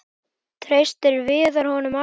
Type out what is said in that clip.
Treysti Viðar honum alltaf?